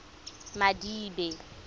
madibe